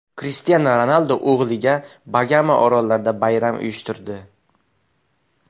Krishtianu Ronaldu o‘g‘liga Bagama orollarida bayram uyushtirdi .